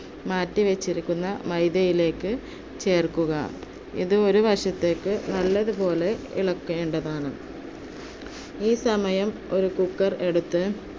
മാറ്റി വച്ചിരിക്കുന്ന മൈദയിലേക്ക് ചേർക്കുക, ഇതൊരു വശത്തേക്ക് നല്ലതുപോലെ ഇളകേണ്ടതാണ്. ഈ സമയം ഒരു cooker എടുത്തു